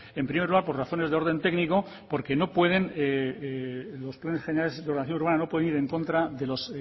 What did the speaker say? en primer lugar por razones de orden técnico porque los planes generales de ordenación urbana no pueden ir en contra de los